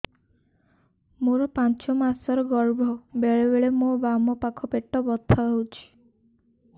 ମୋର ପାଞ୍ଚ ମାସ ର ଗର୍ଭ ବେଳେ ବେଳେ ମୋ ବାମ ପାଖ ପେଟ ବଥା ହଉଛି